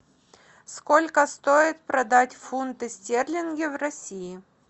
сколько стоит продать фунты стерлинги в россии